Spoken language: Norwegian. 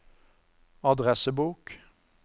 adressebok